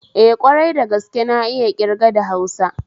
Eh, kwarai dagaske na iya ƙirga da hausa